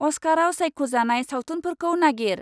अस्काराव सायख'जानाय सावथुनफोरखौ नागिर।